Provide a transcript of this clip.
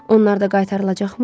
Onlar da qaytarılacaqmı?